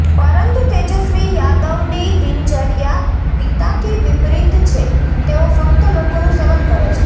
પરંતુ તેજસ્વી યાદવની દિનચર્યા પિતાથી વિપરીત છે તેઓ ફક્ત લોકોનું સેવન કરે છે